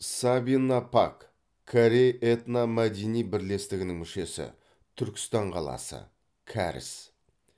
сабина пак корей этномәдени бірлестігінің мүшесі түркістан қаласы кәріс